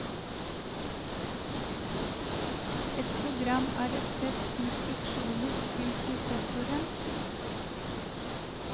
Et program er et sett instruksjoner til prosessoren.